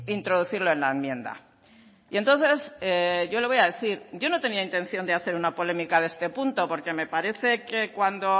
introducirlo en la enmienda y entonces yo le voy a decir yo no tenía intención de hacer una polémica de este punto porque me parece que cuando